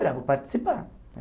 Espera, vou participar.